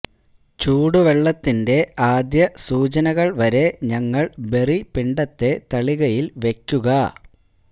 ചൂടുവെള്ളത്തിന്റെ ആദ്യ സൂചനകൾ വരെ ഞങ്ങൾ ബെറി പിണ്ഡത്തെ തളികയിൽ വയ്ക്കുക